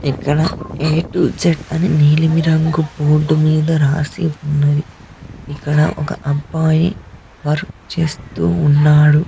ఇక్కడ A to Z అని నీలిమి రంగు బోర్డు మీద రాసి ఉన్నది ఇక్కడ ఒక అబ్బాయి వర్క్ చేస్తూ ఉన్నాడు.